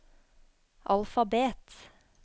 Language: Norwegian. alfabet